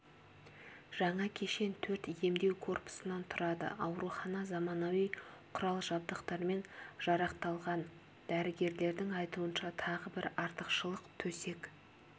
жаңа кешен төрт емдеу корпусынан тұрады аурухана заманауи құрал-жабдықтармен жарақталған дәрігерлердің айтуынша тағы бір артықшылық төсек